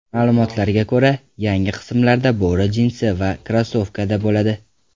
Ma’lumotlarga ko‘ra, yangi qismlarda bo‘ri jinsi va krossovkada bo‘ladi .